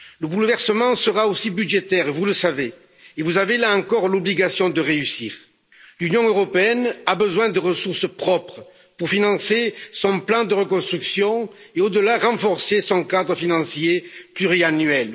Le bouleversement sera aussi budgétaire, vous le savez, et vous avez, là encore, l'obligation de réussir. L'Union européenne a besoin de ressources propres pour financer son plan de reconstruction et, au delà, renforcer son cadre financier pluriannuel.